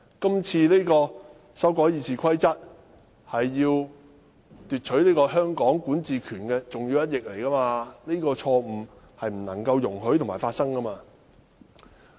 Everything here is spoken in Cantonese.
今次修改《議事規則》是剝奪香港管治權的重要一役，這種錯誤是不容許發生的。